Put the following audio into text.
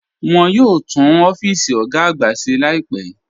Wọ́n yóò túún ọ̀fíìsì ogá àgbà ṣè láìpẹ́.